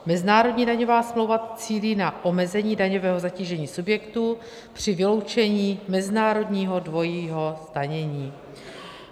Mezinárodní daňová smlouva cílí na omezení daňového zatížení subjektů při vyloučení mezinárodního dvojího zdanění.